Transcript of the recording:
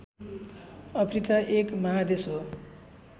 Africa एक महादेश हो